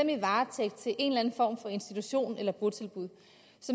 er i varetægt til en eller anden form for institution eller et botilbud